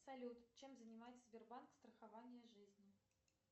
салют чем занимается сбербанк страхование жизни